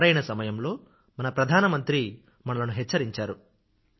సరైన సమయంలో మన ప్రధానమంత్రి మనలను హెచ్చరించారు